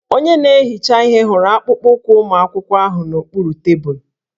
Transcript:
Onye na-ehicha ihe hụrụ akpụkpọụkwụ ụmụ akwụkwọ ahụ n'okpuru tebụlụ